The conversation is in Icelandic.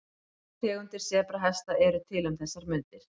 Þrjár tegundir sebrahesta eru til um þessar mundir.